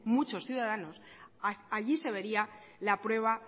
muchos ciudadanos allí se vería la prueba